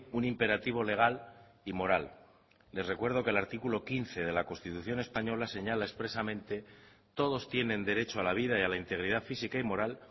un imperativo legal y moral les recuerdo que el artículo quince de la constitución española señala expresamente todos tienen derecho a la vida y a la integridad física y moral